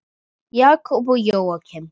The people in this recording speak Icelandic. Jakob og Jóakim.